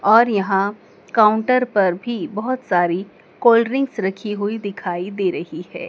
और यहां काउंटर पर भी बहोत सारी कोल्ड ड्रिंक रखी हुई दिखाई दे रही है।